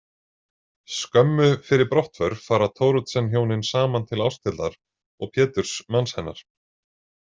Skömmu fyrir brottför fara Thoroddsenhjónin saman til Ásthildar og Péturs manns hennar.